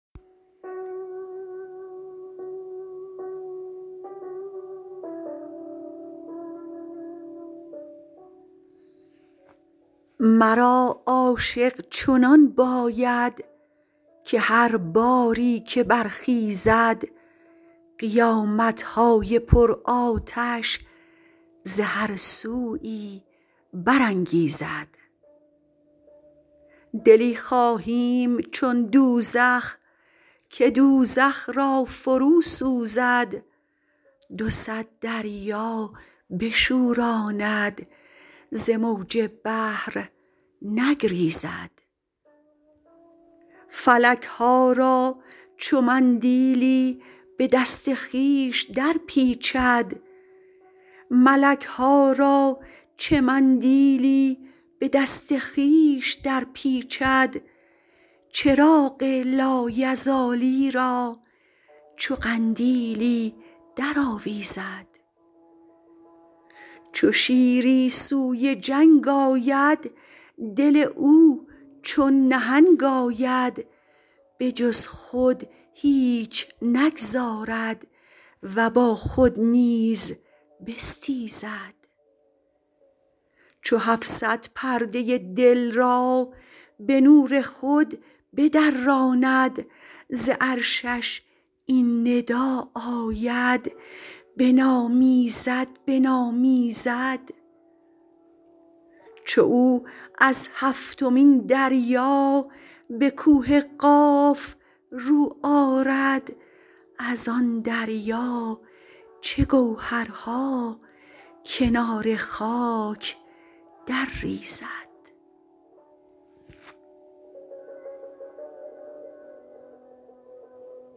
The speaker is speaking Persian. مرا عاشق چنان باید که هر باری که برخیزد قیامت های پرآتش ز هر سویی برانگیزد دلی خواهیم چون دوزخ که دوزخ را فروسوزد دو صد دریا بشوراند ز موج بحر نگریزد ملک ها را چه مندیلی به دست خویش درپیچد چراغ لایزالی را چو قندیلی درآویزد چو شیری سوی جنگ آید دل او چون نهنگ آید به جز خود هیچ نگذارد و با خود نیز بستیزد چو هفت صد پرده ی دل را به نور خود بدراند ز عرشش این ندا آید بنامیزد بنامیزد چو او از هفتمین دریا به کوه قاف رو آرد از آن دریا چه گوهرها کنار خاک درریزد